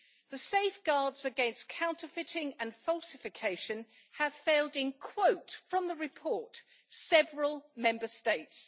The safeguards against counterfeiting and falsification have failed in, and I quote from the report, several Member States'.